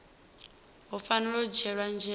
hu fanela u dzhielwa nzhele